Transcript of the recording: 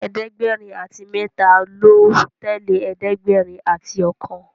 ẹ̀ẹ́dẹ̀gbẹ̀rin àti méta ló tẹlẹ ẹ̀ẹ́dẹ̀gbẹ̀rin àti okan